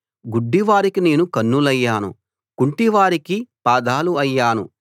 గుడ్డి వారికి నేను కన్నులయ్యాను కుంటివారికి పాదాలు అయ్యాను